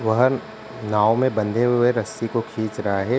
वाहन नाव में बंधे हुए रस्सी को खींच रहा है।